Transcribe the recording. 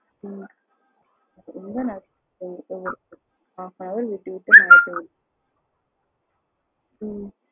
உம் ரெம்ப நாஸ்தி ஆகுது, மழ விட்டு விட்டு மழ பெய்யுது ஹம்